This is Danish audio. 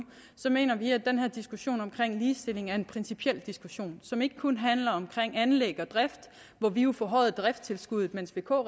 mener vi at den her diskussion om ligestilling er en principiel diskussion som ikke kun handler om anlæg og drift hvor vi jo forhøjede driftstilskuddet mens vk